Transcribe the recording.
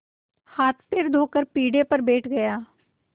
हाथपैर धोकर पीढ़े पर बैठ गया